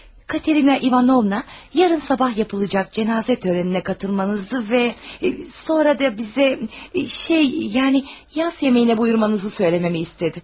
Katerina İvanovna, yarın sabah yapılacaq cənazə törəninə qatılmanızı və sonra da bizə, şey, yəni yas yemeyinə buyurmanızı söyləməmi istədi.